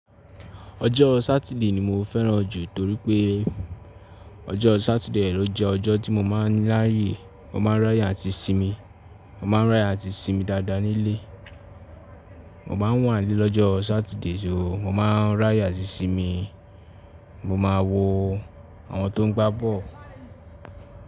Ọjọ́ Sátidé ni mo fẹ́ràn jù torí pé ọjọ́ Sátidé ló jé ọjọ́ tí mo máa ń láyé, mo máa ń ráyè àti sinmi, mo máa ń ráyè àti sinmi dáadáa nílé. Mo máa ń wà nílé lọ́jọ́ Sátidé, so mo máa ń ráyè àti sinmi, mo máa wo àwọn tó ń gbá ball.